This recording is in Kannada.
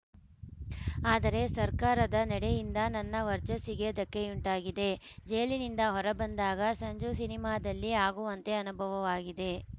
ಆದರೆ ಸರ್ಕಾರದ ನಡೆಯಿಂದ ನನ್ನ ವರ್ಚಸ್ಸಿಗೆ ಧಕ್ಕೆಯುಂಟಾಗಿದೆ ಜೈಲಿನಿಂದ ಹೊರಬಂದಾಗ ಸಂಜು ಸಿನಿಮಾದಲ್ಲಿ ಆಗುವಂತೆ ಅನುಭವವಾಗಿದೆ